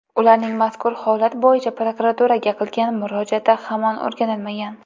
Ularning mazkur holat bo‘yicha prokuraturaga qilgan murojaati hamon o‘rganilmagan.